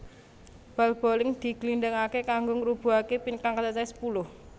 Bal boling diglindingaké kanggo ngrubuhake pin kang cacahé sepuluh